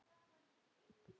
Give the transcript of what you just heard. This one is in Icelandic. Ekki svona allt í einu.